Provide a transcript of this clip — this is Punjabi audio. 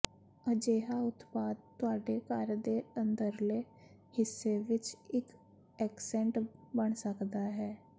ਅਜਿਹਾ ਉਤਪਾਦ ਤੁਹਾਡੇ ਘਰ ਦੇ ਅੰਦਰਲੇ ਹਿੱਸੇ ਵਿੱਚ ਇੱਕ ਐਕਸੈਂਟ ਬਣ ਸਕਦਾ ਹੈ